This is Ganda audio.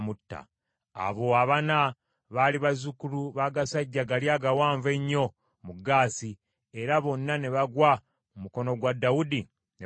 Abo abana baali bazzukulu b’agasajja gali agawanvu ennyo mu Gaasi, era bonna ne bagwa mu mukono gwa Dawudi ne basajja be.